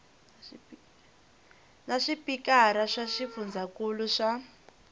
na swipikara swa swifundzankulu swa